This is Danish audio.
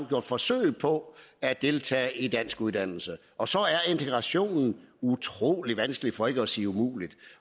gjort forsøg på at deltage i danskuddannelse og så er integrationen utrolig vanskelig for ikke at sige umulig